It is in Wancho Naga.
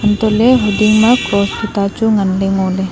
antohley hiding ma cross tuta chu nganla ngoley.